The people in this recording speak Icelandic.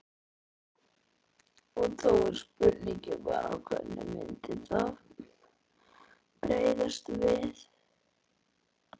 Og þá er spurningin bara hvernig myndi það bregðast við?